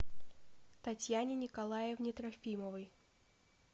татьяне николаевне трофимовой